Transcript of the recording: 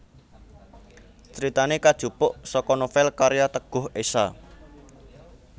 Critane kajupuk saka novel karya Teguh Esha